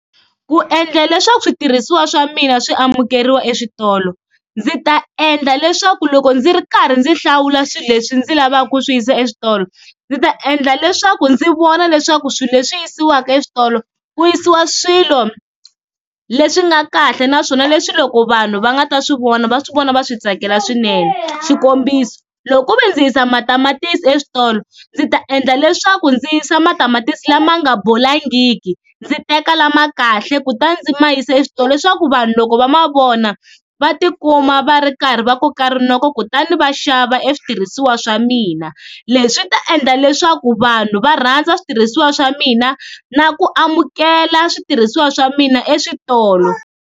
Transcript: Ku endla leswaku switirhisiwa swa mina swi amukeriwa eswitolo ndzi ta endla leswaku loko ndzi ri karhi ndzi hlawula swilo leswi ndzi lavaka ku swi yisa eswitolo, ndzi ta endla leswaku ndzi vona leswaku swilo leswi yisiwaka eswitolo ku yisiwa swilo leswi nga kahle naswona leswi loko vanhu va nga ta swi vona va swi vona va swi tsakela swinene, xikombiso loko ku ve ndzi yisa matamatisi eswitolo ndzi ta endla leswaku ndzi yisa matamatisi lama nga bolangiki, ndzi teka lama kahle kutani ndzi ma yisa eswitolo leswaku vanhu loko va ma vona va tikuma va ri karhi va koka rinoko kutani va xava e switirhisiwa swa mina, leswi ta endla leswaku vanhu va rhandza switirhisiwa swa mina na ku amukela switirhisiwa swa mina eswitolo.